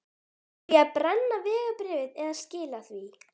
Á ég að brenna vegabréfið eða skila því?